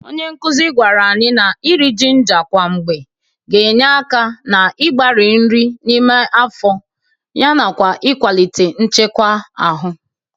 Onye nkụzị gwara anyị na iri jinga kwa mgbe ga-enye aka n'ịgbarị nri n'ime afọ nakwa ịkwalite nchekwa ahụ.